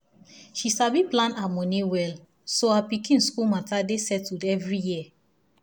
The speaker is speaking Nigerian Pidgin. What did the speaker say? she sabi plan her money well so her pikin school matter dey settled every year